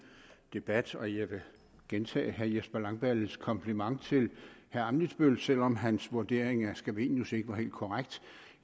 debat og jeg vil gentage herre jesper langballes kompliment til herre ammitzbøll selv om hans vurdering af scavenius ikke var helt korrekt